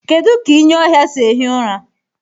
Kedu ka ịnyị ọhịa sị ehi ụra?